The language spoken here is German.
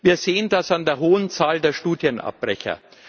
Wir sehen das an der hohen Zahl der Studienabbrecher.